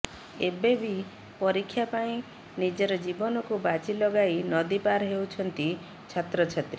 ଏବେବି ପରୀକ୍ଷା ପାଇଁ ନିଜର ଜୀବନକୁ ବାଜି ଲଗାଇ ନଦୀ ପାର ହେଉଛନ୍ତି ଛାତ୍ରଛାତ୍ରୀ